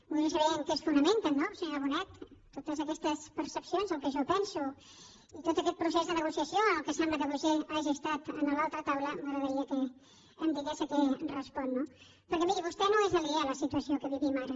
voldria saber en què es fonamenten no senyora bonet totes aquestes percepcions el que jo penso i tot aquest procés de negociació en el qual sembla que vostè hagi estat a l’altra taula m’agradaria que em digués a què respon no perquè miri vostè no és aliena a la situació que vivim ara